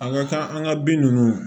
An ka kan an ka bin ninnu